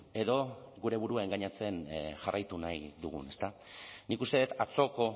edo gure burua engainatzen jarraitu nahi dugun ezta nik uste dut atzoko